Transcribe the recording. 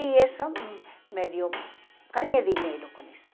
E isso me deu, ganhei dinheiro com isso.